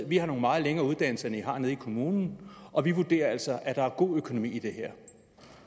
vi har nogle meget længere uddannelser end i har i nede kommunen og vi vurderer altså at der er god økonomi i det her og